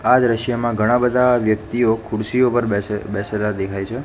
આ દ્રશ્યમાં ઘણા બધા વ્યક્તિઓ ખુરશીઓ પર બેસે બેસેલા દેખાય છે.